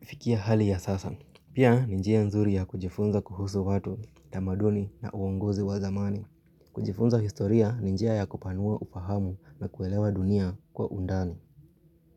fikia hali ya sasa. Pia, ninjia nzuri ya kujifunza kuhusu watu, utamaduni na uongozi wa zamani. Kujifunza historia, ninjia ya kupanua upahamu na kuelewa dunia kwa undani.